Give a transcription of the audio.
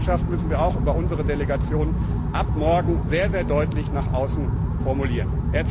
Und diese Botschaft müssen wir auch über unsere Delegation ab morgen sehr deutlich nach außen formulieren!